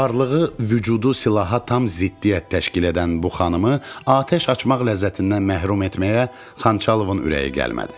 Varlığı, vücudu silaha tam ziddiyyət təşkil edən bu xanımı atəş açmaq ləzzətindən məhrum etməyə Xançalovun ürəyi gəlmədi.